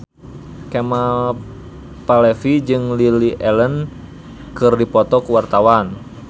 Kemal Palevi jeung Lily Allen keur dipoto ku wartawan